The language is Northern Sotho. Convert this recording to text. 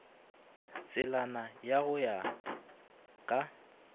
tselana ya go ya ka